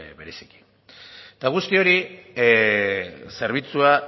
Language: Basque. bereziki eta guzti hori zerbitzua